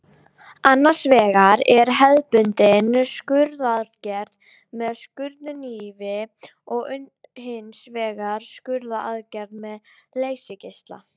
Annars vegar er hefðbundin skurðaðgerð með skurðhnífi og hins vegar skurðaðgerð með leysigeisla.